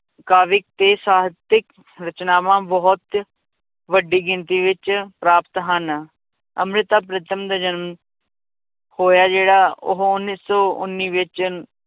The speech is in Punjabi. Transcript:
ਕਾਵਿਕ ਤੇ ਸਾਹਿਤਕ ਰਚਨਾਵਾਂ ਬਹੁਤ ਵੱਡੀ ਗਿਣਤੀ ਵਿੱਚ ਪ੍ਰਾਪਤ ਹਨ, ਅੰਮ੍ਰਿਤਾ ਪ੍ਰੀਤਮ ਦੇ ਜਨਮ ਹੋਇਆ ਜਿਹੜਾ ਉਹ ਉੱਨੀ ਸੌ ਉੱਨੀ ਵਿੱਚ